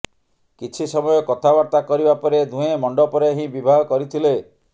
କିଛି ସମୟ କଥାବାର୍ତ୍ତା କରିବା ପରେ ଦୁହେଁ ମଣ୍ଡପରେ ହିଁ ବିବାହ କରିଥିଲେ